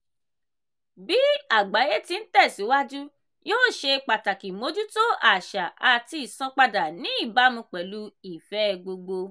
bí àgbáyé ti ń tẹ̀síwájú yíò ṣe pàtàkì mójútó àṣà àti ìsanpadà ní ìbámu pẹ̀lú ìfẹ́ẹ gbogbo.